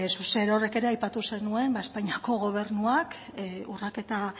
zuk zerorrek ere aipatu zenuen espainiako gobernuak urraketa